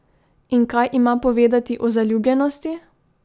In kaj ima povedati o zaljubljenosti?